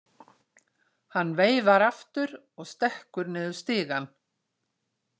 Hann veifar aftur og stekkur niður stigann.